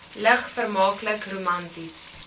lig vermaaklik romanties